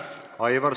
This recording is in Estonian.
Aitäh!